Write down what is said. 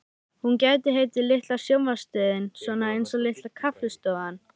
Hún gæti heitið Litla sjónvarpsstöðin, svona einsog Litla kaffistofan.